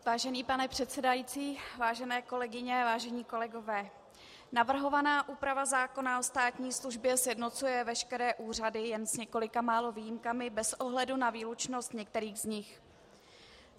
Vážený pane předsedající, vážené kolegyně, vážení kolegové, navrhovaná úprava zákona o státní službě sjednocuje veškeré úřady, jen s několika málo výjimkami, bez ohledu na výlučnost některých z nich.